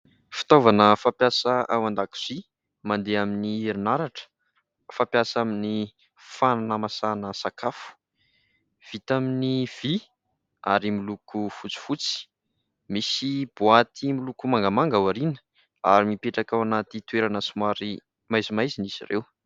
Fitaovana fampiasa ao an-dakozia mandeha amin'ny herinaratra, fampiasa amin'ny fanamasahana sakafo ; vita amin'ny vy ary miloko fotsifotsy. Misy boaty miloko mangamanga ao aoriana, ary mipetraka ao anaty toerana somary maizimaizina izy ireo.